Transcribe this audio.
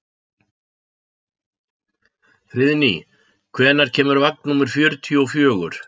Friðný, hvenær kemur vagn númer fjörutíu og fjögur?